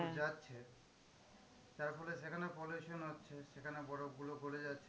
যাচ্ছে তার ফলে সেখানে pollution হচ্ছে, সেখানে বরফগুলো গলে যাচ্ছে